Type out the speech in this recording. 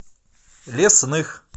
лесных